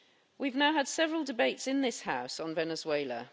We have now had several debates in this House on Venezuela.